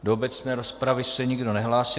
Do obecné rozpravy se nikdo nehlásí.